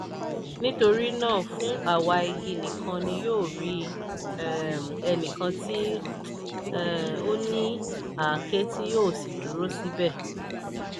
nítorí náà fún àwa igi nìkan ni yóò rí um ẹnìkan tí um ó ní àáké tí yóò sì dúró síbẹ̀.